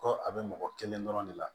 Ko a bɛ mɔgɔ kelen dɔrɔn de la